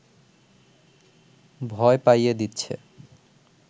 ভয় পাইয়ে দিচ্ছে